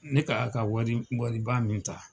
Ne ka wa ka wari wariba min ta